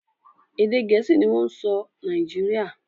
Èdè Gẹ̀ẹ́sì ni wọ́n ń sọ Nàìjíríà